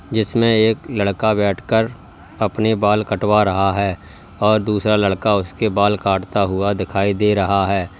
जिसमें एक लड़का बैठकर अपने बाल कटवा रहा है और दूसरा लड़का उसके बाल काटता हुआ दिखाई दे रहा है।